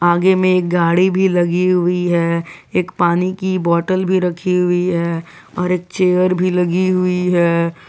आगे में एक गाड़ी भी लगी हुई है एक पानी की बॉटल भी रखी हुई है और एक चेयर भी लगी हुई है।